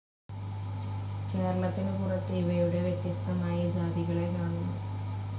കേരളത്തിന് പുറത്ത് ഇവയുടെ വ്യത്യസ്ഥമായ ജാതികളെ കാണുന്നു.